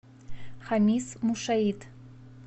хамис мушаит